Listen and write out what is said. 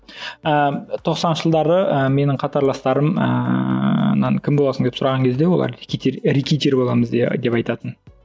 ыыы тоқсаныншы жылдары ы менің қатарластарымнан кім боласың деп сұраған кезде олар рэкетир рэкетир боламыз деп айтатын